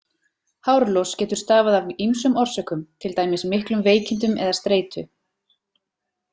Hárlos getur stafað af ýmsum orsökum, til dæmis miklum veikindum eða streitu.